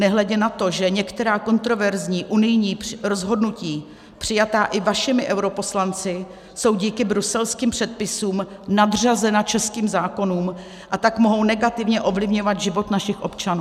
Nehledě na to, že některá kontroverzní unijní rozhodnutí přijatá i vašimi europoslanci jsou díky bruselským předpisům nadřazena českým zákonům, a tak mohou negativně ovlivňovat život našich občanů.